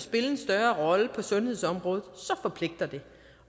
spille en større rolle på sundhedsområdet så forpligter det